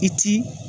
I ti